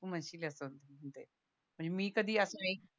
तू म्हणशील असं मणजे मी कधी असं